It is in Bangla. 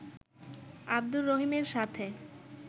আবদুর রহিমের সাথে